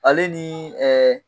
Ale ni ɛɛ